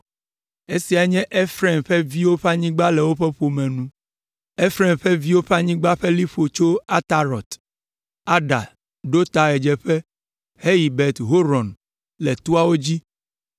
Esiae nye Efraim ƒe viwo ƒe anyigba le woƒe ƒome nu. Efraim ƒe viwo ƒe anyigba ƒe liƒo tso Atarot Ada ɖo ta ɣedzeƒe heyi Bet Horon le toawo dzi,